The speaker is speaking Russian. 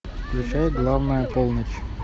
включай главная полночь